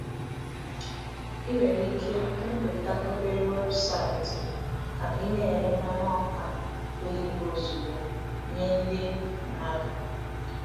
I nwere ike mepụta obere weebụsaịtị ka ị na-ere mmanụ ọka oyibo ozugbo nye ndị mmadụ.